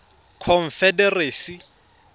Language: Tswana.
confederacy